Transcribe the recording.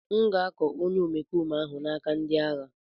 M ga-akọ onye omekome ahụ n'aka ndị agha.